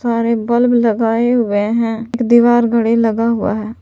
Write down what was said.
बाहर बल्ब लगाए हुए हैं एक दीवार घड़ी लगा हुआ है।